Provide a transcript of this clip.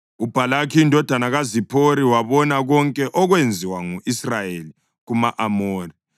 UBhalaki indodana kaZiphori wabona konke okwenziwa ngu-Israyeli kuma-Amori,